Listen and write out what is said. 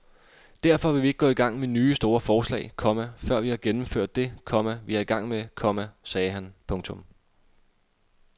Derfor vil vi ikke gå i gang med nye store forslag, komma før vi har gennemført det, komma vi er i gang med, komma sagde han. punktum